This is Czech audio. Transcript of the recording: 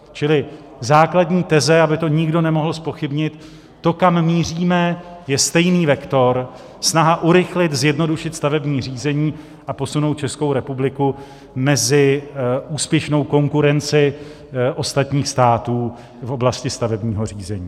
Čili základní teze, aby to nikdo nemohl zpochybnit, to, kam míříme, je stejný vektor, snaha urychlit, zjednodušit stavební řízení a posunout Českou republiku mezi úspěšnou konkurenci ostatních států v oblasti stavebního řízení.